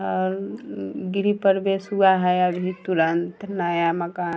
और अअ गृह प्रवेश हुआ है अभी तुरंत नया मकान --